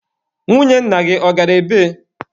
Nwunye nna gị, ọ gara ebee?